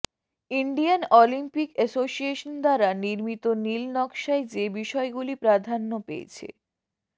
Indian Olympic association দ্বারা নির্মিত নীল নকশায় যে বিষয়গুলি প্রাধান্য পেয়েছে